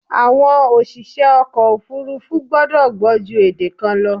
Àwọn òṣìṣẹ́ ọkọ̀ òfúrúfú gbọ́dọ̀ gbọ́ ju èdè kan lọ.